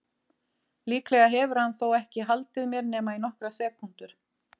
Líklega hefur hann þó ekki haldið mér nema í nokkrar sekúndur.